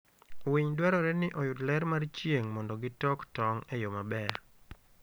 Winy dwarore ni oyud ler mar chieng' mondo gitok tong' e yo maber.